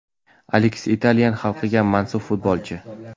Aleks – italyan xalqiga mansub futbolchi.